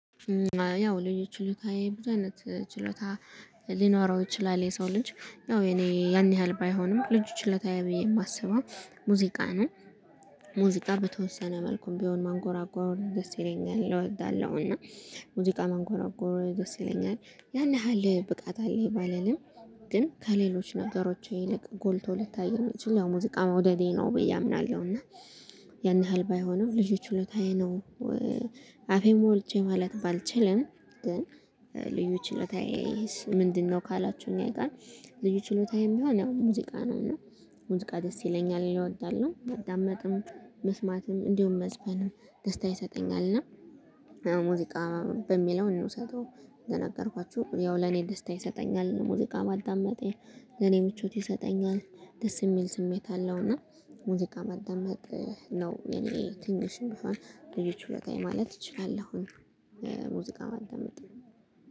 ያው ልጅ ችሎታ የብዙ አይነት ችሎታ ሊኖረው ይችላል። የሰው ልጅ ያው የእኔ ያን ያህል ባይሆንም ልጁ ችሎታ ለታየው ብዬ የማስበው ሙዚቃ ነው። ሙዚቃ በተወሰነ መልኩም ቢሆን ማንጎራጓር ደስ ይለኛል እወዳለሁ። እና ሙዚቃ ማንጎራጎር ደስ ይለኛል። ያን ያህል ብቃት አለኝ ባለንም ግን ከሌሎች ነገሮች ይልቅ ጎልቶ ልታይ የሚችል ያው ሙዚቃ መውደዴ ነው ብዬ አምናለሁ። እና ያን ያህል ባይሆንም ልጆች ሁለታዬ ነው አፌን ሞልቼ ማለት ባልችልም ግን ልዩ ችሎታዬ ምንድነው? ካላችሁኝ አይቀር ልዩ ችሎታዬም ሚሆን ያው ሙዚቃ ነው። እና ውዚቃ ይለኛል። እኔ እወዳለሁ ማዳመጥም መስማትም እንዲሁም መስፈንም ደስታ ይሰጠኛል እና ሙዚቃ በሚለው እንድውሰደው እንደነገርኳችሁ ያው ለኔ ደስታ ይሰጠኛል ሙዚቃ ማዳመጥ የኔ ምቾት ይሰጠኛል። ደስ የሚል ስሜት አለው። እና ሙዚቃ ማዳመጥ ነው የኔ ትንሽ እንኳ ልዩ ችሎታዬ ወጣ ማለት እችላለሁኝ። ሙዚቃ ማደመጥ